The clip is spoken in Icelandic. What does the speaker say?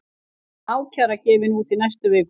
Ákæra gefin út í næstu viku